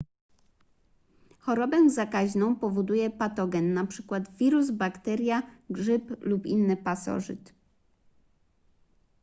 chorobę zakaźną powoduje patogen np wirus bakteria grzyb lub inny pasożyt